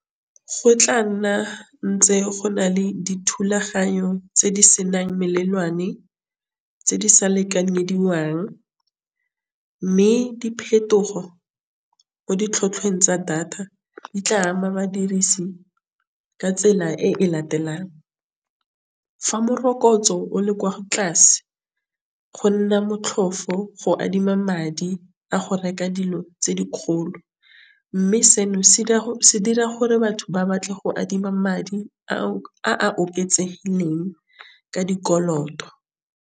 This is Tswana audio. Go tla nna ntse go na le dithulaganyo tse di senang melelwane tse di sa lekanyediwang, mme diphetogo mo di tlhotlhweng tsa data di tla ama badirisi ka tsela e e latelang. Fa morokotso o le kwa tlase go nna motlhofo go adima madi a go reka dilo tse di kgolo, mme seno se dira gore batho ba batle go adima madi a a oketsegileng ka dikoloto.